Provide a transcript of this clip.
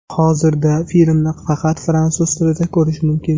Hozirda filmni faqat fransuz tilida ko‘rish mumkin.